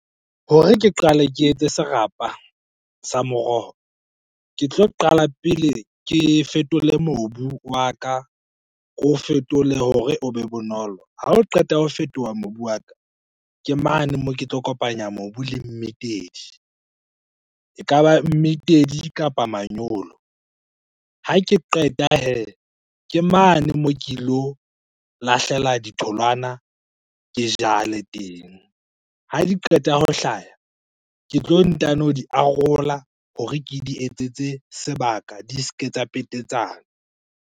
Hore ke qale ke etse serapa sa moroho, ke tlo qala pele ke fetole mobu wa ka, ke o fetole hore o be bonolo. Ha o qeta ho fetoha mobu wa ka, ke mane moo ke tlo kopanya mobu le mmitedi, ekaba mmitedi kapa manyolo. Ha ke qeta hee, ke mane moo ke ilo lahlela ditholwana, ke jale teng. Ha di qeta ho hlaha, ke tlo ntano di arola hore ke di etsetse sebaka di se ke tsa petetsana.